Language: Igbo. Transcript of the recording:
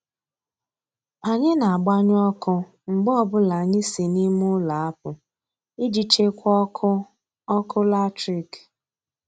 Anyị na-agbanyụ ọkụ mgbe ọbụla anyị si n'ime ụlọ apụ iji chekwaa ọkụ ọkụ latrik.